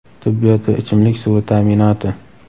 tibbiyot va ichimlik suvi ta’minoti.